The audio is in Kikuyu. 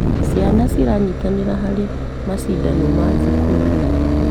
Ciana ciranyitanĩra harĩ macindano ma thukuru.